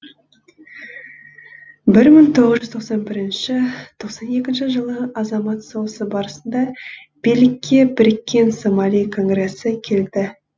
бір мың тоғыз жүз тоқсан бір тоқсан екінші жылы азамат соғысы барысында билікке біріккен сомали конгресі келді